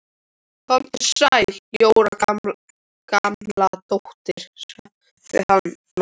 Komdu sæl Jóra Gamladóttir sagði hann loks.